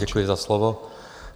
Děkuji za slovo.